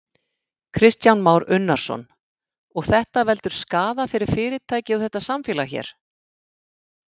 Kristján Már Unnarsson: Og þetta veldur skaða fyrir fyrirtækið og þetta samfélag hér?